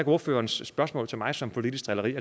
ordførerens spørgsmål til mig som politisk drilleri